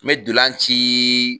N me dolan ciii